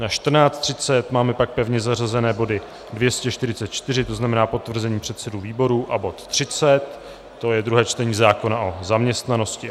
Na 14.30 máme pak pevně zařazené body 244, to znamená potvrzení předsedů výborů, a bod 30, to je druhé čtení zákona o zaměstnanosti.